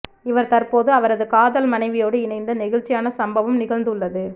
இவர் தற்போது அவரது காதல் மனைவியோடு இணைந்த நெகிழ்ச்சியான சம்பவம் நிகழ்ந்து உள்ளது